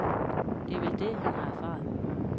Det er vel det, han har erfaret.